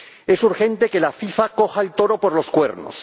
Es urgente que la FIFA coja el toro por los cuernos.